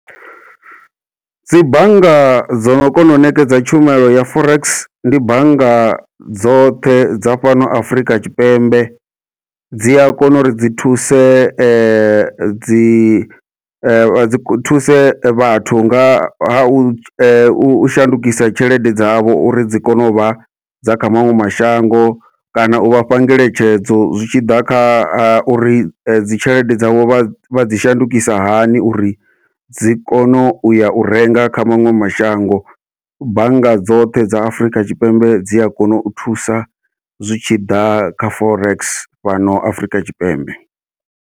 Dzi bannga dzono kona u ṋekedza tshumelo ya forex, ndi bannga dzoṱhe dza fhano Afrika Tshipembe dzia kona uri dzi thuse dzi vha dzi thuse vhathu nga ha u u shandukisa tshelede dzavho uri dzi kone uvha dza kha maṅwe mashango, kana u vhafha ngeletshedzo zwi tshi ḓa kha uri dzi tshelede dzavho vha dzi shandukisa hani uri dzi kone uya u renga kha maṅwe mashango. Bannga dzoṱhe dza Afurika Tshipembe dzi a kona u thusa zwitshiḓa kha forex fhano Afrika Tshipembe.